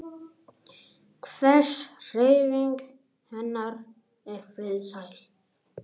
Hver hreyfing hennar er friðsæl.